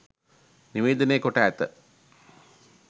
නිවේදනය කොට ඇත.